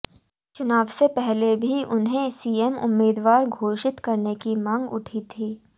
चुनाव से पहले भी उन्हें सीएम उम्मीदवार घोषित करने की मांग उठी थी